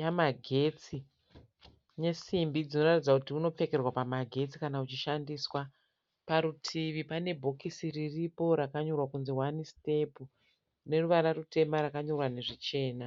yamagetsi nesimbi dzinoratidza kuti unopfekerwa pamagetsi kana uchishandiswa. Parutivi pane bhokisi riripo rakanyorwa kunzi hwani sitepu. Rine ruvara rutema rakanyorwa nezvitema.